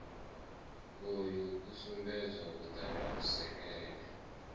uyu i sumbedza vhuṱala vhusekene